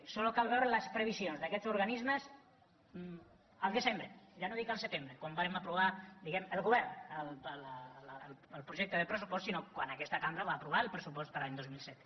només cal veure les previsions d’aquests organismes al desembre ja no dic al setembre quan vàrem aprovar diguem ne al govern el projecte de pressupost sinó quan aquesta cambra va aprovar el pressupost per a l’any dos mil set